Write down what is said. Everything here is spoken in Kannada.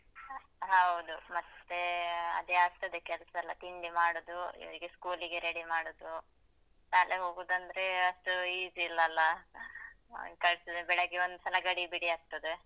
ಹೌದು. ಮತ್ತೇ ಅದೇ ಆಗ್ತದೆ ಕೆಲ್ಸಯೆಲ್ಲ ತಿಂಡಿ ಮಾಡುದು ಇವ್ರಿಗೆ school ಗೆ ready ಮಾಡುದು. ಶಾಲೆಗ್ ಹೋಗುದಂದ್ರೇ ಅಷ್ಟು easy ಇಲ್ಲಲ್ಲಾ, ಅಂತ ಆಗ್ತದೆ ಬೆಳಗ್ಗೆ ಒಂದ್ಸಲ ಗಡಿಬಿಡಿ ಆಗ್ತದೆ.